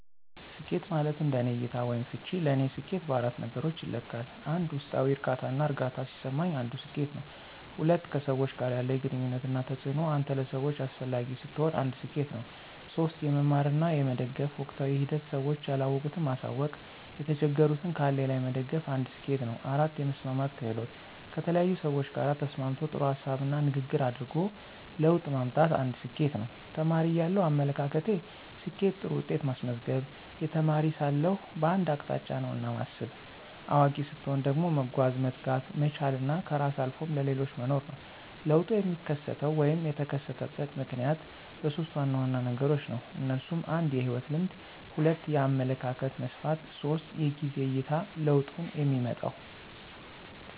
ስኬት ማለት እንደኔ እይታ /ፍች ለኔ ሰኬት በአራት ነገሮች ይለካል 1, ውስጣዊ ዕርካታና እርግአታ ሲሰማኝ አንዱ ስኬት ነው። 2, ከሰዎች ጋር ያለኝ ግንኙነት እና ተጽእኖ አንተ ለሰዎች አሰፈላጊ ስትሆን አንድ ሰኬት ነው። 3, የመማር እና የመደገፍ ወቅታዊ ሂደት ስዎች ያለወቁት ማሳውቅ የተቸገሩትን ካለኝ ላይ መደገፍ አንድ ስኬት ነው 4, የመስማማት ክህሎት: ከተለያዪ ሰዎች ጋር ተስማምቶ ጥሩ ሀሳብና ንግግር አድርጎ ለውጥ ማምጣት አንድ ስኬት ነው። ተማሪ እያለው አመለካከቴ፦ ስኬት ጥሩ ውጤት ማስመዝገብ, የተማሪ ሳለሁ በአንድ አቅጣጫ ነውና ማስብ። አዋቂ ሰትሆን ደግሞ መጓዝ፣ መትጋት፣ መቻል እና ከራስ አልፎም ለሌሎች መኖር ነው። ለውጡ የሚከሰተው /የተከሰተበት ምክንያት በሦስት ዋና ዋና ነገሮች ነው። እነሱም 1, የህይወት ልምድ 2, የአመለካከት መስፍፍት 3, የጊዜ አይታ ለውጡንየሚመጣው።